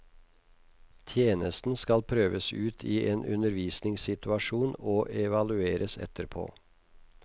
Tjenesten skal prøves ut i en undervisningssituasjon og evalueres etterpå.